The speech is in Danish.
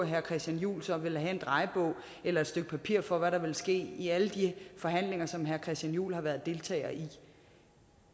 herre christian juhl så ville have en drejebog eller et stykke papir for hvad der ville ske i alle de forhandlinger som herre christian juhl har været deltager i